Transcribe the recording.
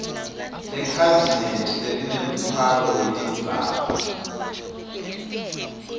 lekhabhinethi lelinemtfwalo wetindzaba